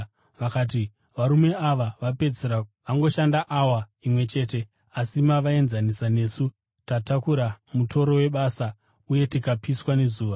Vakati, ‘Varume ava vapedzisira vangoshanda awa imwe chete, asi mavaenzanisa nesu tatakura mutoro webasa uye tikapiswa nezuva.’